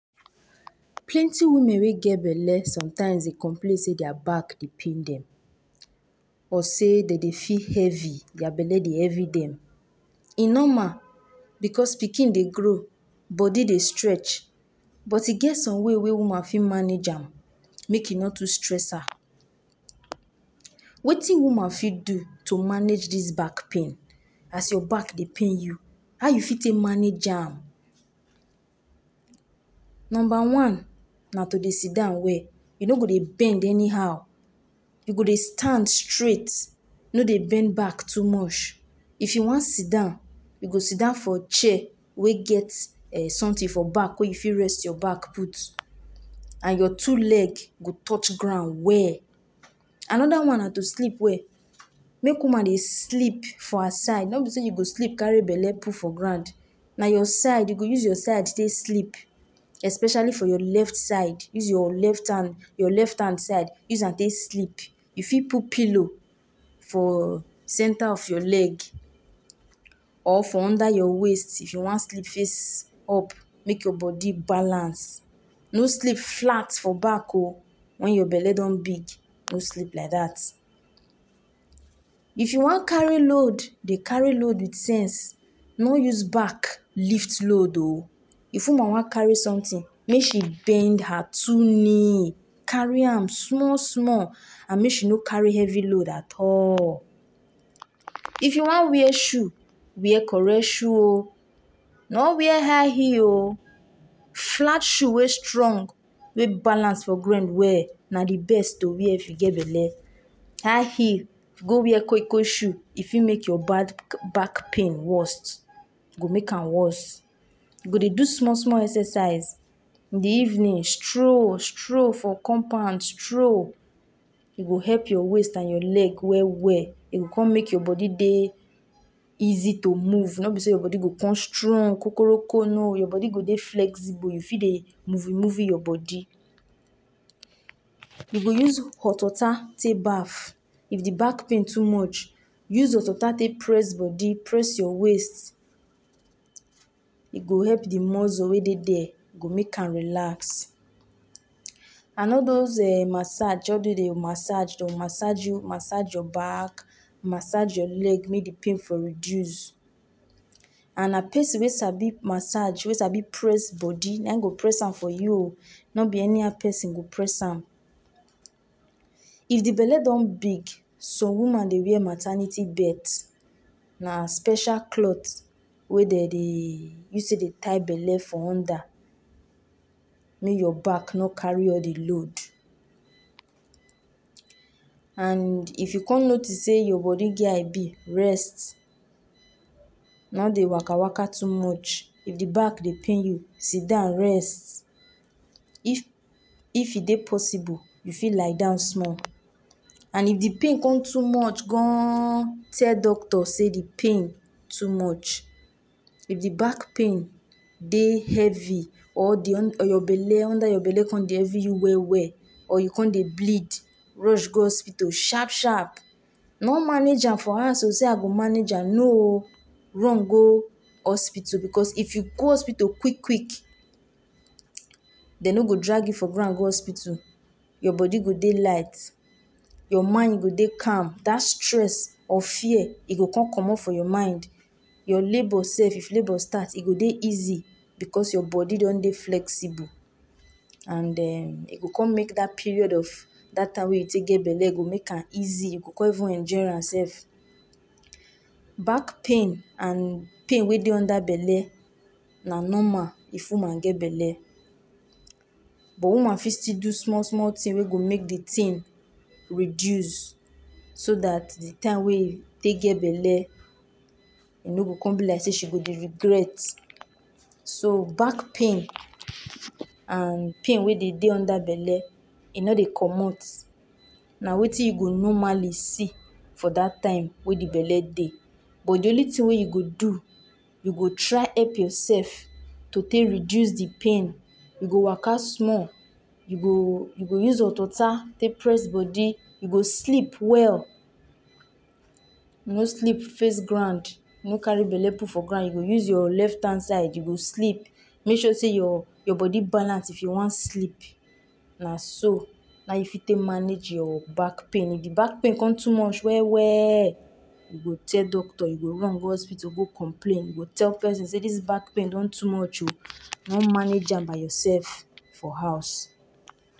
Plenty women wey get belle sometimes Dey complain sey dia back Dey pain dem some sey Dey Dey feel heavy dia belle Dey heavy dem e normal because pikin Dey grow body Dey stretch but e get some way wey woman go fit manage am make e no too stress her Wetin woman fit do to manage dis back pain as your back Dey pain you how you fit take manage am Number one na to Dey sit down well you no go Dey bend anyhow, yoi go Dey stand straight no Dey bend back too much if you wan sit down you go sit down for chair wey get eh something for back wey you fit rest your back put and your two leg go touch ground well another one na to sleep well make woman Dey sleep for her side no be say you do sleep carry belle put for ground a your side you go use your side take sleep especially for your left side use your left hand side use am take sleep you fit put pillow for cater of your leg or for under your waist if you wan sleep face up make your body balance no sleep flat for back oo when your belle don big no sleep like dat If you wan carry load Dey carry load with sense no use back lift load ooo if woman wan carry something make she bend her two knee carry am small small and make she no carry heavy load at allll. If you wan wear shoe make you wear correct shoe oo no be high high heel oo flat shoe wey strong wey balance for ground well na de best to wear if you get belle high heel go wear Kwai Kwai shoe e fit make you back pain worst e go make am worst you go Dey do small small exercise in de evening stroll stroll stroll for compound stroll e go help your waist and your leg strong well well e go con make your baby Dey easy to move no be sey your body go some strong kokoroko your body go Dey flexible you fit Dey moveee moveee your body You go use hot water take baff if de back pain too much use hot water take press body press your waist e go help de mussle wey Dey dia e go help am relax and all dose eh massage all dose massager Dey massage you massege your back massege your leg make de pain Dey for reduce and na person wey sabi massege we sabi press body na im go press am for you oo no be any how person go press am if de belle don big some woman Dey wear maternity belt na special cloth Dey dem Dey use de tie belle for under make you back no carry all de load And if you come notice sey your body get how e be rest no Dey waka waka too much if de back de pain you sitdown rest if e Dey possible lie down small and if de pain come too much goonnnn tell doctor sey De pain too much, if de back pain Dey heavy or under your belle de heavy you well well or you come Dey bleed rush go hospital sharp sharp no manage am for house oo sey I go manage am no oooo run go hospital because if you go hospital kwick kwick dem no go drag you for ground go hospital your body go Dey light, your mind go Dey calm dat stress or fear e go come commot for your mind your labor sef if labor start e go Dey easy because your body don Dey flexible e go con make dat period of dat time wey you take get belle make am easy you go come anjoy am sef back pain and pain wey Dey under belle na normal if woman get belle but woman fit do small small thing wey go make de thing reduce so dat de time wey you take get belle e no go come be like sey she go Dey regret back pain and pain wey Dey Dey under belle e no Dey commot na wetin you go normally see for dat time wey de belle Dey but de only thing wey you go do, you go try help yourself to take reduce de pain you go woka small you go use hot water take press body, you go sleep well no sleep face ground you go use your left hand side to sleep make sure sey your body balance if you wan sleep na so you fit Dey take manage your back pain if de back pain con too much well well you do tell doctor you go run go hospital go complain you go tell person sey dis back pain don too much oo no manage am by yourself for house